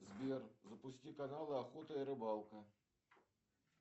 сбер запусти канал охота и рыбалка